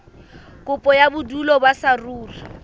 kopo ya bodulo ba saruri